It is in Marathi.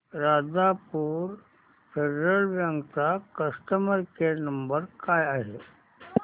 राजापूर फेडरल बँक चा कस्टमर केअर नंबर काय आहे